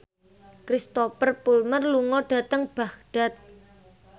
Cristhoper Plumer lunga dhateng Baghdad